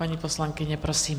Paní poslankyně, prosím.